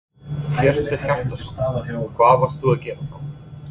Hjörtur Hjartarson: Hvað varstu að gera þá?